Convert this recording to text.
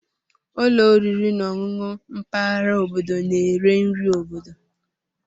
Ụlọ oriri na ọṅụṅụ mpaghara obodo na-ere nri obodo.